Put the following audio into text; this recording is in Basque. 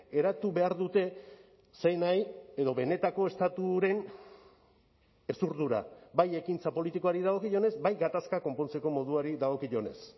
eratu behar dute zein nahi edo benetako estaturen hezurdura bai ekintza politikoari dagokionez bai gatazkak konpontzeko moduari dagokionez